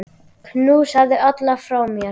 Knúsaðu alla frá mér.